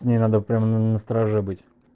с ней надо прямо на стороже быть